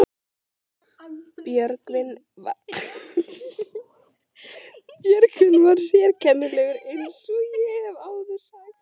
Björgvin var sérkennilegur eins og ég hef áður sagt.